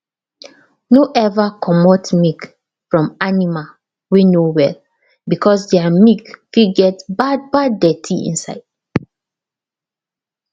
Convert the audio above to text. no ever commot milk from animal wey no well because their milk fit get bad bad dirtyinside